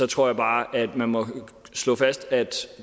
tror jeg bare man må slå fast at